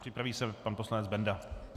Připraví se pan poslanec Benda.